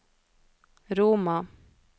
Roma